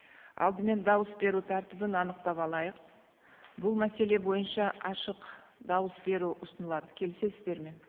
алдымен дауыс беру тәртібін анықтап алайық бұл мәселе бойынша ашық дауыс беру ұсынылады келісесіздер ме